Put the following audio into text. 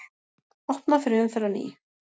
Opnað fyrir umferð á ný